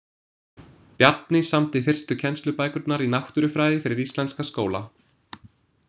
Bjarni samdi fyrstu kennslubækurnar í náttúrufræði fyrir íslenska skóla.